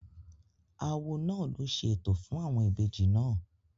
Awo náà ló ṣe ètò fún àwọn ìbejì náà